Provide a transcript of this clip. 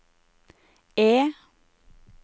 E